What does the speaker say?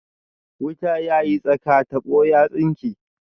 Wuta ya yi tsaka, tabo ya tsinke